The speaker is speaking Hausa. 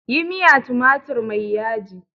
Yi miya tumatir mai yaji!